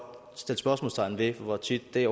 stille spørgsmålstegn ved hvor tit det